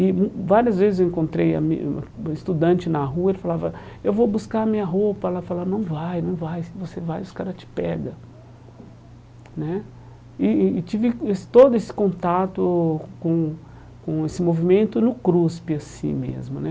E várias vezes eu encontrei ami estudante na rua e ele falava, eu vou buscar a minha roupa e ela falava, não vai, não vai, se você vai os cara te pega né. E e tive esse todo esse contato com com esse movimento no CRUSP assim mesmo, né?